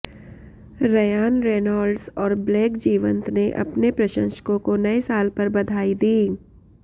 Ryan Reynolds और Blake जीवंत ने अपने प्रशंसकों को नए साल पर बधाई दी